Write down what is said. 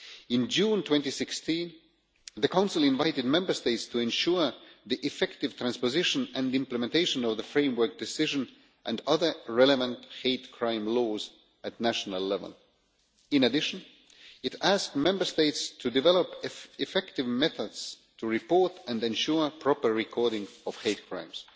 In June 2016 the Council invited Member States to ensure the effective transposition and implementation of the framework decision and other relevant hate crime laws at national level. In addition, it asked Member States to develop effective methods to report and ensure proper recording of hate crimes.